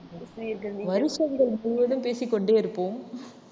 ஆஹ் வருஷங்கள் முழுவதும் பேசிக் கொண்டே இருப்போம்